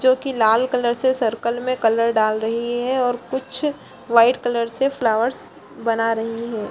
जोकि लाल कलर से सर्किल में कलर दाल रही है और कुछ वाइट कलर से फ्लावर्स बना रही है |